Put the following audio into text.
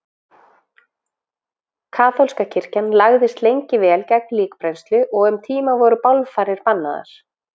Kaþólska kirkjan lagðist lengi vel gegn líkbrennslu og um tíma voru bálfarir bannaðar.